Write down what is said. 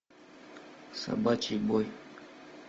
собачий бой